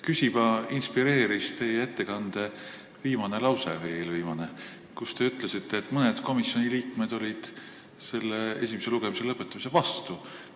Küsima inspireeris teie ettekande eelviimane lause, kus te ütlesite, et mõned komisjoni liikmed olid esimese lugemise lõpetamise vastu.